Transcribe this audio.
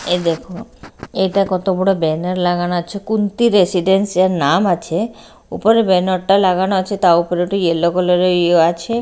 এই দেখো এটা কত বড়ো ব্যানার লাগানো আছে কুন্তি রেসিডেন্স -এর নাম আছে উপরে ব্যানার -টা লাগানো আছে তাও উপরে একটা ইয়েলো কালার -এর ইয়েও আছে।